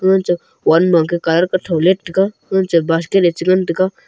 one makhe car ketho lat taiga ga ngan cha basket ley cha ngan taiga.